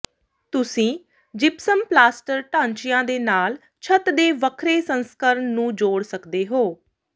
ਤੁਸੀਂ gypsum plaster ਢਾਂਚਿਆਂ ਦੇ ਨਾਲ ਛੱਤ ਦੇ ਵੱਖਰੇ ਸੰਸਕਰਣ ਨੂੰ ਜੋੜ ਸਕਦੇ ਹੋ